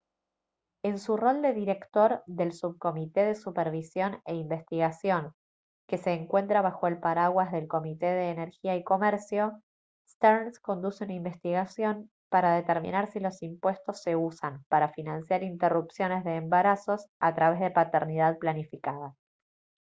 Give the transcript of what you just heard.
en su rol de director del subcomité de supervisión e investigación que se encuentra bajo el paraguas del comité de energía y comercio stearns conduce una investigación para determinar si los impuestos se usan para financiar interrupciones de embarazos a través de paternidad planificada